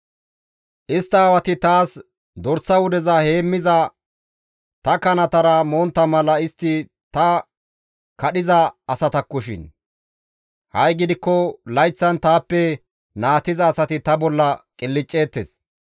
«Istta aawati taas dorsa wudeza heemmiza ta kanatara montta mala istti ta kadhiza asatakkoshin; ha7i gidikko layththan taappe naatiza asati ta bolla qilcceettes.